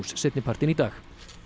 seinni partinn í dag